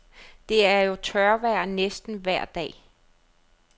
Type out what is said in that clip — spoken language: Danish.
Det er jo tørvejr næsten vejr dag.